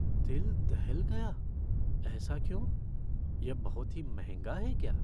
दिल दहल गया? ऐसा क्यों? यह बहुत ही महंगा है क्या?